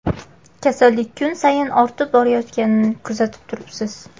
Kasallik kun sayin ortib borayotganini kuzatib turibsiz.